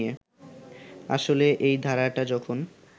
আসলে এই ধারাটা যখন